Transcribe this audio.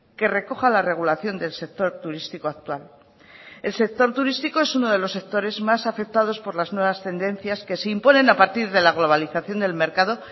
que recoja la regulación del sector turístico actual el sector turístico es uno de los sectores más afectados por las nuevas tendencias que se imponen a partir de la globalización del mercado